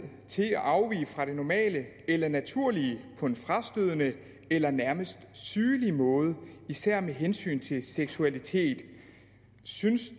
til at afvige fra det normale eller naturlige på en frastødende eller nærmest sygelig måde især med hensyn til seksualitet synes